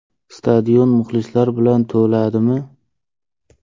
Stadion muxlislar bilan to‘ladimi?